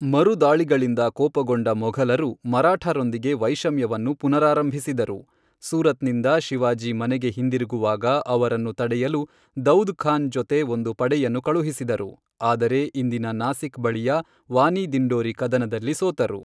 ಮರುದಾಳಿಗಳಿಂದ ಕೋಪಗೊಂಡ ಮೊಘಲರು ಮರಾಠರೊಂದಿಗೆ ವೈಷಮ್ಯವನ್ನು ಪುನರಾರಂಭಿಸಿದರು, ಸೂರತ್ನಿಂದ ಶಿವಾಜಿ ಮನೆಗೆ ಹಿಂದಿರುಗುವಾಗ ಅವರನ್ನು ತಡೆಯಲು ದೌದ್ ಖಾನ್ ಜೊತೆ ಒಂದು ಪಡೆಯನ್ನು ಕಳುಹಿಸಿದರು, ಆದರೆ ಇಂದಿನ ನಾಸಿಕ್ ಬಳಿಯ ವಾನಿ ದಿಂಡೋರಿ ಕದನದಲ್ಲಿ ಸೋತರು.